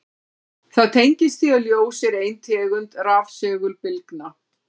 Það tengist því að ljós er ein tegund rafsegulbylgna.